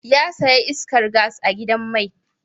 Ya saya iskar gas a gidan mai